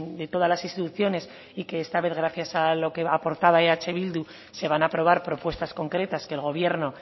de todas las instituciones y que esta vez gracias a lo que aportaba eh bildu se van a aprobar propuestas concretas que el gobierno